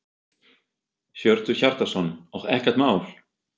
Hjörtur Hjartarson: Og ekkert mál?